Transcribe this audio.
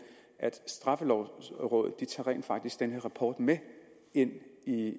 at straffelovrådet rent faktisk tager den her rapport med ind i